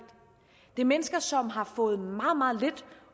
det er mennesker som har fået meget meget lidt